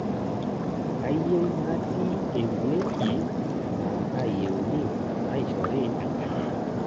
Kayieu natii ewuaji naa kayieuni naishori enkanyit